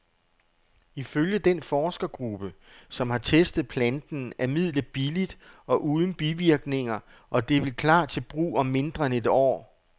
Ifølge den forskergruppe, som har testet planten, er midlet billigt og uden bivirkninger, og det vil klar til brug om mindre end et år.